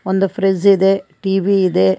ಒಂದು ಫ್ರಿಜ್ ಇದೆ ಟಿ_ವಿ ಇದೆ.